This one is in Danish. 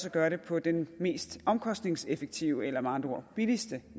at gøre det på den mest omkostningseffektive eller med andre ord billigste